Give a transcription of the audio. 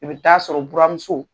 I be taa sɔrɔ u buramuso